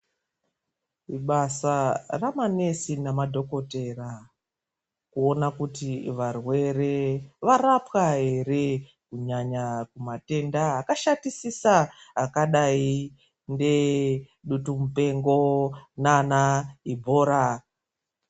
Ibasa raanamukoti namadhokodheya kuona kuti varwere varapwa here kunyanya matenda akashatisisa akadai ngebeshamupengo naana EBOLA.